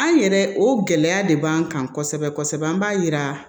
An yɛrɛ o gɛlɛya de b'an kan kosɛbɛ kosɛbɛ an b'a yira